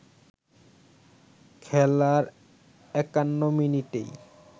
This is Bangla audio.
খেলার ৫১ মিনিটেই